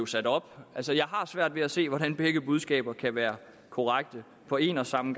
sat op altså jeg har svært ved at se hvordan begge budskaber kan være korrekte på en og samme